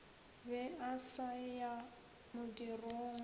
be a sa ya modirong